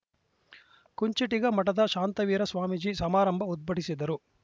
ಕುಂಚುಟಿಗ ಮಠದ ಶಾಂತವೀರ ಸ್ವಾಮೀಜಿ ಸಮಾರಂಭ ಉದ್ಬಟಿಸಿದರು